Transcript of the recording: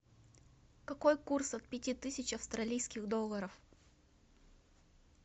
какой курс от пяти тысяч австралийских долларов